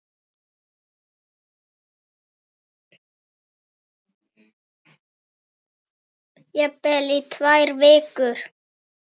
Jafnvel í tvær vikur.